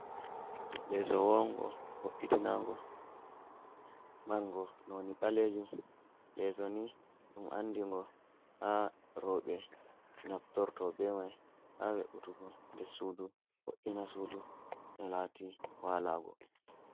Leso wongo wo’’itinago margo noni balejum leso ni dum andi go ha robe nabtorto be mai ha we’utugo de sudu wo’’ina sudu no lati walago.